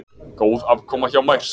Góð afkoma hjá Mærsk